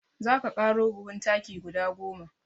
Za ka ƙaro buhun taki guda goma.